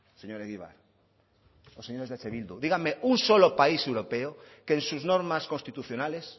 señor egibar o señores de eh bildu díganme un solo país europeo que en sus normas constitucionales